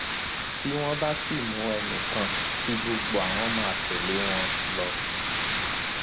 bí wọn bá sì mú ẹnì kan kí gbogbo àwọn máa tẹlé wọn lọ